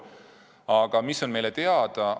Aga mis on meile teada?